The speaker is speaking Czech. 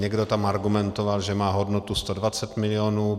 Někdo tam argumentoval, že má hodnotu 120 milionů.